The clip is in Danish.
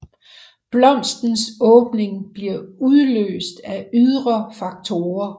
Blomstens åbning bliver udløst af ydre faktorer